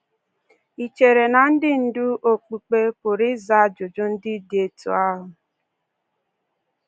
Ì chere na ndị ndú okpukpe pụrụ ịza ajụjụ ndị dị otú ahụ?